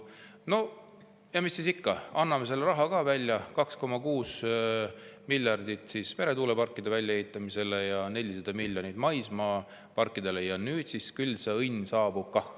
No ja mis siis ikka, anname selle raha ka välja, 2,6 miljardit eurot meretuuleparkide väljaehitamiseks ja 400 miljonit maismaaparkidele – ja küll see õnn siis kah saabub.